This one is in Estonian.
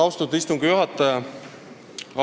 Austatud istungi juhataja!